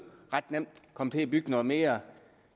komme til at bygge noget mere